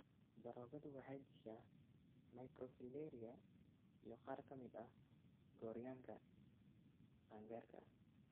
Daroogadu waxay dishaa microfilaria iyo qaar ka mid ah gooryaanka qaangaarka ah.